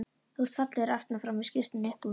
Þú ert fallegur aftan frá með skyrtuna upp úr.